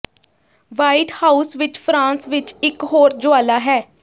white House ਵਿੱਚ France ਵਿੱਚ ਇੱਕ ਹੋਰ ਜੁਆਲਾ ਹੈ